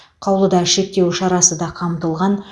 қаулыда шектеу шарасы да қамтылған